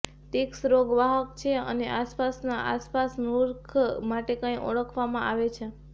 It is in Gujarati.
ટિક્સ રોગ વાહક છે અને આસપાસ આસપાસ મૂર્ખ માટે કંઈ ઓળખવામાં આવે છે